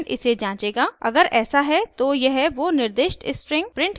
अगर ऐसा है तो यह वो निर्दिष्ट string प्रिंट करेगा